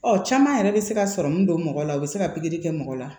Ɔ caman yɛrɛ bɛ se ka sɔrɔ min don mɔgɔ la u bɛ se ka pikiri kɛ mɔgɔ la